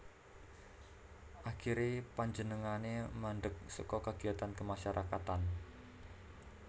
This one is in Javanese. Akhiré panjenengané mandek saka kegiatan kemasyarakatan